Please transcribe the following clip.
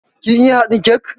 Kin iya haɗin kek?